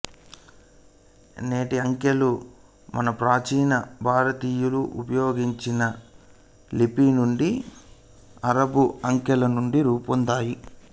నేటి అంకెలు మన ప్రాచీన భారతీయులు ఉపయోగించిన లిపి నుండి అరబ్బు అంకెల నుండి రూపొందాయి